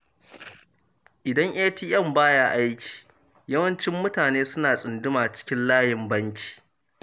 Idan ATM ba ya aiki, yawanci mutane suna tsunduma cikin layin banki.